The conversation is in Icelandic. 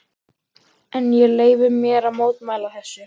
En ég leyfi mér að mótmæla þessu.